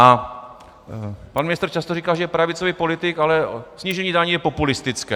A pan ministr často říká, že je pravicový politik, ale snížení daní je populistické.